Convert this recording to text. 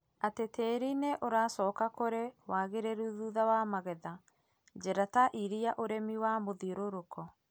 atĩ tĩri nĩ ũracoka kũrĩ wagĩrĩru thutha wa magetha. Njĩra ta ũrĩa ũrĩmi wa mũthiũrũrũko,